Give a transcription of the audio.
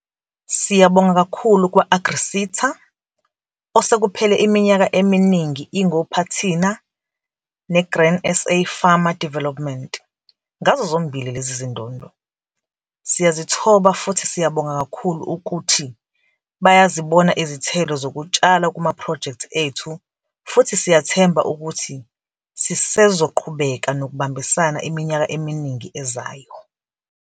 Siyabonga kakhulu kwa-AgriSeta, osekuphele iminyaka eminingi ingophathina ne-Grain SA Farmer Development, ngazo zozimbili lezi zindondo. Siyazithoba futhi siyabonga kakhulu ukuthi bayazibona izithelo zokutshala kumaphrojekthi ethu futhi siyathemba ukuthi sisezoqhubeka nokubambisana iminyaka eminingi ezayo.